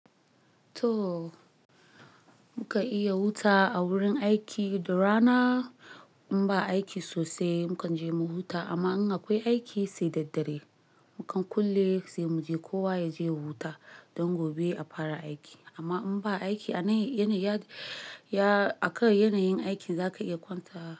To muka iya huta a wurin aiki. Da rana in ba aiki sosai mu kan je mu huta, amma in akwai aiki sai da dare mu kan kulle sai mu je kowa ya je ya huta don gobe a fara aiki. Amma in ba aiki a kar yanayin aikin za ka iya kwanta.